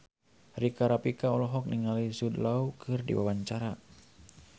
Rika Rafika olohok ningali Jude Law keur diwawancara